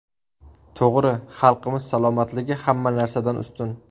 To‘g‘ri, xalqimiz salomatligi hamma narsadan ustun.